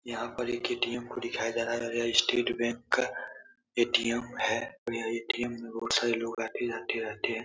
यहाँ पर एक ए.टी.एम को दिखाया जा रहा है। यह स्टेट बैंक का ए.टी.एम. है। यह ए.टी.एम मे बहुत सारे लोग आते-जाते रहते हैं।